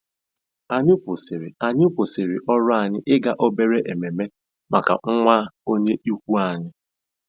Anyị kwụsịrị Anyị kwụsịrị ọrụ anyị ịga obere ememe maka nwa onye ikwu anyị.